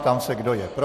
Ptám se, kdo je pro.